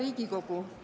Hea Riigikogu!